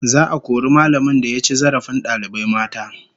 Za'a kori mallamin da ya ci zarafin dalibai mata